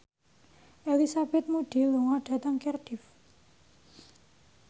Elizabeth Moody lunga dhateng Cardiff